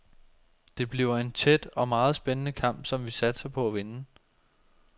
Det bliver en tæt og meget spændende kamp, som vi satser på at vinde.